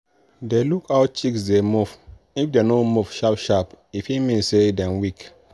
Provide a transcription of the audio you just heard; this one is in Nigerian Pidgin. dey look how chicks dey move if dem no move sharp-sharp e fit mean say dem weak.